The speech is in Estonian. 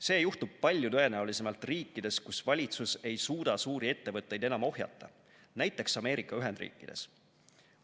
See juhtub palju tõenäolisemalt riikides, kus valitsus ei suuda suuri ettevõtteid enam ohjata, näiteks Ameerika Ühendriikides.